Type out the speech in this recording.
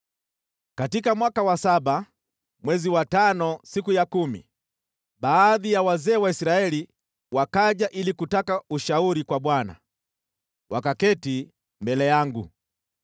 Katika mwaka wa saba, mwezi wa tano siku ya kumi, baadhi ya wazee wa Israeli wakaja ili kutaka ushauri kwa Bwana , wakaketi mbele yangu.